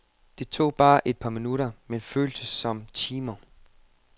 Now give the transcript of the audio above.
Det tog bare et par minutter men føltes som timer.